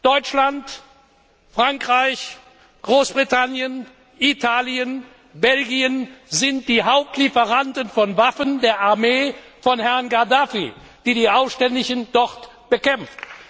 Deutschland, Frankreich, Großbritannien, Italien, Belgien sind die Hauptlieferanten von Waffen der Armee von Herrn Gaddafi, die die Aufständischen dort bekämpft.